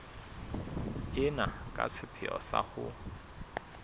ena ka sepheo sa ho